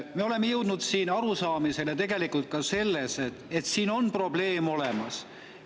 Me oleme jõudnud arusaamisele, et tegelikult probleem on siin olemas.